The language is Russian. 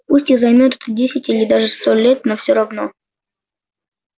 пусть и займёт это десять или даже сто лет но всё равно